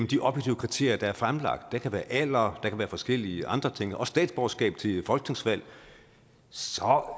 de objektive kriterier der er fremlagt det kan være alder forskellige andre ting og statsborgerskab ved folketingsvalg så er